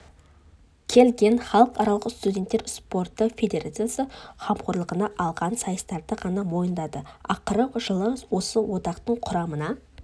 келген халықаралық студенттер спорты федерациясы қамқорлығына алған сайыстарды ғана мойындады ақыры жылы осы одақтың құрамына